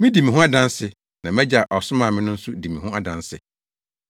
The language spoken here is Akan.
Midi me ho adanse na mʼAgya a ɔsomaa me no nso di me ho adanse.”